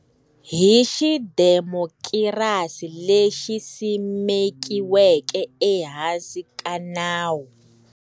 Hi xidemokirasi lexi simekiweke ehansi ka nawu.